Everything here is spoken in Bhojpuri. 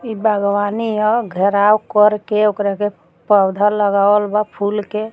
ई बागवानी ह घेराव कर के ओकरा के पौधा लगावल बा फूल के।